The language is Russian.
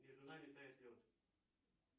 между нами тает лед